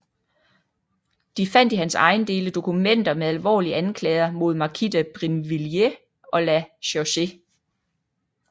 De fandt i hans ejendele dokumenter med alvorlige anklager mod markise de Brinvilliers og La Chaussee